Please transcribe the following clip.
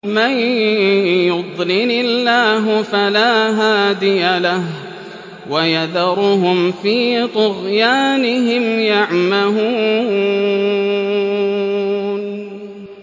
مَن يُضْلِلِ اللَّهُ فَلَا هَادِيَ لَهُ ۚ وَيَذَرُهُمْ فِي طُغْيَانِهِمْ يَعْمَهُونَ